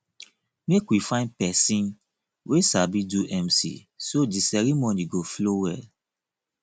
make we find pesin wey sabi do mc so di ceremony go flow well